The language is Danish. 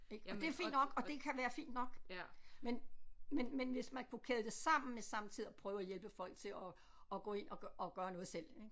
Ik og det er fint nok og det kan være fint nok men men men hvis man kunne kæde det sammen med samtidig at prøve at hjælpe folk til at at gå ind og og gøre noget selv ik